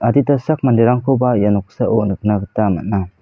adita sak manderangkoba ia noksao nikna gita man·a.